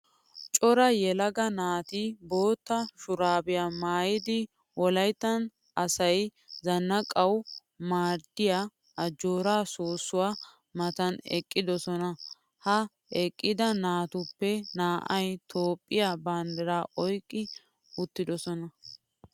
Cora yelaga naati bootta shuraabiya maayyidi wolayittan asayi zannaqanawu maadiyaa ajjoora soossuwaa matan eqqidosona. Ha eqqida naatuppe naa'ayi Toophphiyaa banddiraa oyiqqi uttidosona.